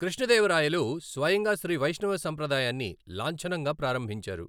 కృష్ణదేవరాయలు స్వయంగా శ్రీ వైష్ణవ సంప్రదాయాన్ని లాంఛనంగా ప్రారంభించారు.